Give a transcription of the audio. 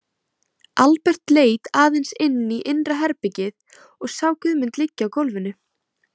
Albert leit aðeins inn í innra herbergið og sá Guðmund liggja á gólfinu.